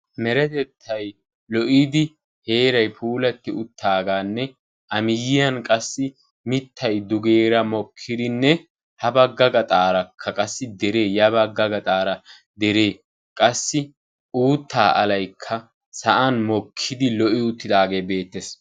Meretettay lo"iddi heeray puulati uttaaganne a miyyiyan qassi mittay dugeera mikirinne ha bagga gaxxarakka qassi deree, ya bagga gaxxaara deree qassi uutta alaykka sa'aan mokkidi lo"i uttaage beettees.